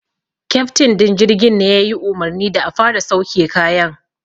Keftin din jirgin ne ya yi umarni da a fara sauke kayan.